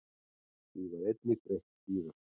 Því var einnig breytt síðar.